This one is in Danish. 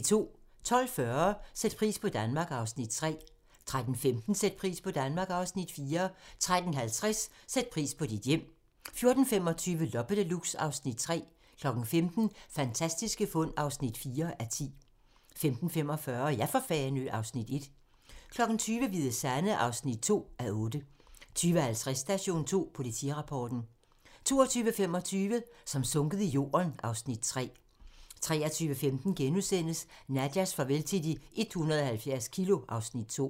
12:40: Sæt pris på Danmark (Afs. 3) 13:15: Sæt pris på Danmark (Afs. 4) 13:50: Sæt pris på dit hjem 14:25: Loppe Deluxe (Afs. 3) 15:00: Fantastiske fund (4:10) 15:45: Ja for Fanø! (Afs. 1) 20:00: Hvide Sande (2:8) 20:50: Station 2: Politirapporten 22:25: Som sunket i jorden (Afs. 3) 23:15: Nadjas farvel til de 170 kilo (Afs. 2)*